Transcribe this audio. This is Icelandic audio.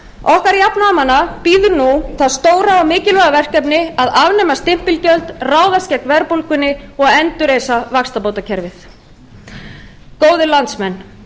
okkar jafnaðarmanna bíður nú það stóra og mikilvæga verkefni að afnema stimpilgjöld ráðast gegn verðbólgunni og endurreisa vaxtabótakerfið góðir landsmenn